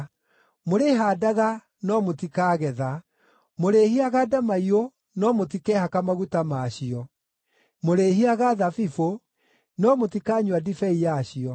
Mũrĩhaandaga no mũtikaagetha; mũrĩĩhihaga ndamaiyũ no mũtikehaka maguta ma cio; mũrĩĩhihaga thabibũ no mũtikanyua ndibei yacio.